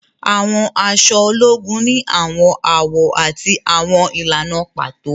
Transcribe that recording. Àwọn aṣọ ológùn ni awọn awọ ati awọn ìlànà pàtó